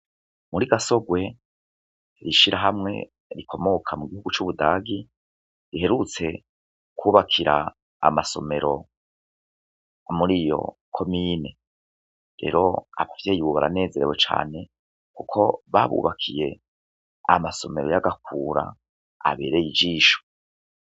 Muri Gasorwe, ishirahamwe rikomoka mu gihugu c'Ubudagi, riherutse kubakira amasomero muri iyo komine. Rero abavye ubu baranezerewe cane kuko babubakiye amasomero y'agakura abereye ijisho.